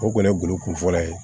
O kɔni ye golo kun fɔlɔ ye